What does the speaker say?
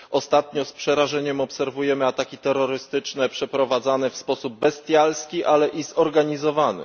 Ostatnio z przerażeniem obserwujemy ataki terrorystyczne, przeprowadzane w sposób bestialski, ale i zorganizowany.